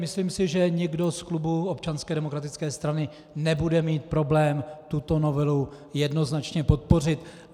Myslím si, že nikdo z klubu Občanské demokratické strany nebude mít problém tuto novelu jednoznačně podpořit.